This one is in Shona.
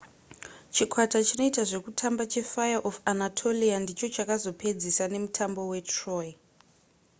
chikwata chinoita zvekutamba chefire of anatolia ndicho chakazopedzisa nemutambo we troy